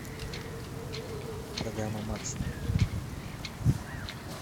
программа максимум